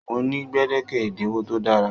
Mo ni gbedeke ẹdinwo to dára.